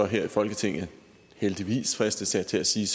her i folketinget heldigvis fristes jeg til at sige